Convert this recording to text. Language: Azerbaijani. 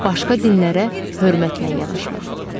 Başqa dinlərə hörmətlə yanaşmaq.